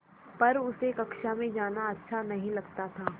पर उसे कक्षा में जाना अच्छा नहीं लगता था